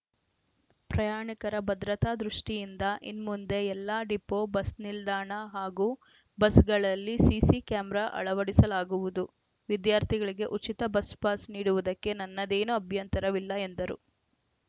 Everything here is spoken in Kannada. ಪ್ರಯಾಣಿಕರ ಭದ್ರತಾ ದೃಷ್ಟಿಯಿಂದ ಇನ್ಮುಂದೆ ಎಲ್ಲಾ ಡಿಪೋ ಬಸ್‌ನಿಲ್ದಾಣ ಹಾಗೂ ಬಸ್‌ಗಳಲ್ಲಿ ಸಿಸಿ ಕ್ಯಾಮೆರಾ ಅಳವಡಿಸಲಾಗುವುದು ವಿದ್ಯಾರ್ಥಿಗಳಿಗೆ ಉಚಿತ ಬಸ್‌ಪಾಸ್‌ ನೀಡುವುದಕ್ಕೆ ನನ್ನದೇನು ಅಭ್ಯಂತರವಿಲ್ಲ ಎಂದರು